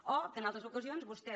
o que en altres ocasions vostè